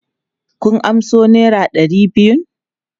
Kun amso naira ɗari biyun?